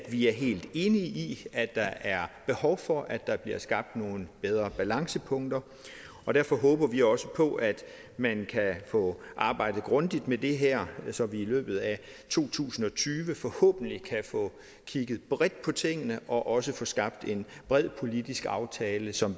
vi er helt enige i at der er behov for at der bliver skabt nogle bedre balancepunkter og derfor håber vi også på at man kan få arbejdet grundigt med det her så vi i løbet af to tusind og tyve forhåbentlig kan få kigget bredt på tingene og også få skabt en bred politisk aftale som